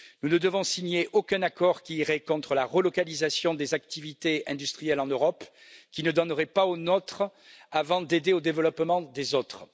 Nous ne devons signer aucun accord qui irait contre la relocalisation des activités industrielles en Europe, qui ne donnerait pas aux nôtres avant d'aider au développement des autres.